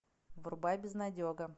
врубай безнадега